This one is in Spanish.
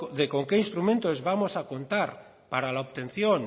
de con qué instrumentos vamos a contar para la obtención